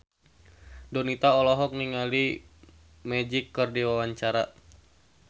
Donita olohok ningali Magic keur diwawancara